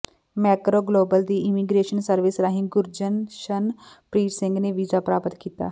Macro Global ਦੀ immigration service ਰਾਹੀਂ ਗੁਰਜਸ਼ਨਪ੍ਰੀਤ ਸਿੰਘ ਨੇ ਵੀਜ਼ਾ ਪ੍ਰਾਪਤ ਕੀਤਾ